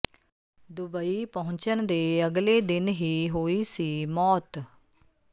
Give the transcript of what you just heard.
Dubai ਪਹੁੰਚਣ ਦੇ ਅਗਲੇ ਦਿਨ ਹੀ ਹੋਈ ਸੀ ਮੌਤ